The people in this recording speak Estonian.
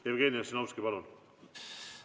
Jevgeni Ossinovski, palun!